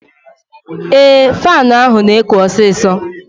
Ee, faanụ ahụ na-ekụ osisọ